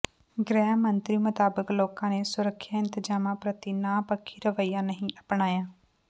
ਗ੍ਰਹਿ ਮੰਤਰੀ ਮੁਤਾਬਕ ਲੋਕਾਂ ਨੇ ਸੁਰੱਖਿਆ ਇੰਤਜ਼ਾਮਾਂ ਪ੍ਰਤੀ ਨਾਂਹਪੱਖੀ ਰਵੱਈਆ ਨਹੀਂ ਅਪਣਾਇਆ